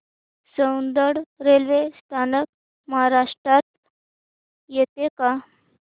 Soundad railway स्थानक महाराष्ट्रात येतं का